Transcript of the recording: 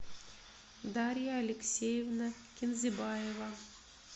дарья алексеевна кинзебаева